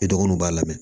I dɔgɔnuw b'a lamɛn